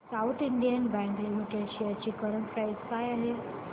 south Indian Bank Limited shares ची current price काय आहे